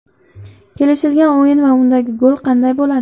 Kelishilgan o‘yin va undagi gol qanday bo‘ladi?